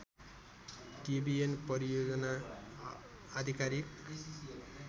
Debian परियोजना आधिकारिक